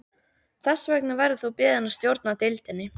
Þess vegna verður þú beðinn að stjórna deildinni